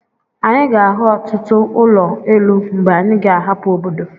Anyị ga-ahụ ọtụtụ ụlọ elu mgbe anyi ga-ahapụ obodo.